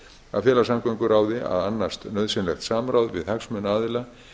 að fela samgönguráði að annast nauðsynlegt samráð við hagsmunaaðila